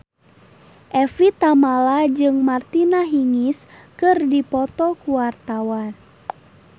Evie Tamala jeung Martina Hingis keur dipoto ku wartawan